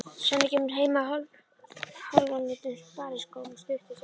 Svenni kemur heim á hálfónýtum spariskóm stuttu seinna.